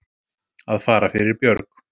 Að fara fyrir björg